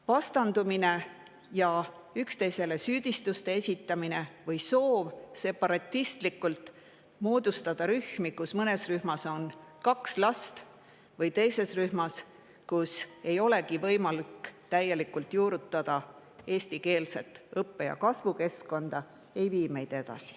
Vastandumine ja üksteisele süüdistuste esitamine, soov separatistlikult moodustada rühmi, kus on kaks last või kus ei ole eestikeelset õppe- ja kasvukeskkonda võimalik täielikult juurutada, meid edasi ei vii.